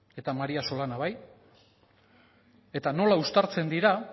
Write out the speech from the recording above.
eta maría solana bai eta nola uztartzen dira